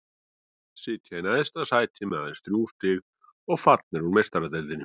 Sitja í neðsta sæti með aðeins þrjú stig og fallnir út úr Meistaradeildinni.